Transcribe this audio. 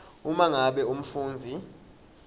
uma ngabe umfundzi